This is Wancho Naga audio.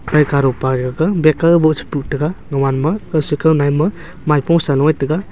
pai ke ga bag ke che puhtaiga gaman ma kausui kaunaye ma maipung salu ye taiga.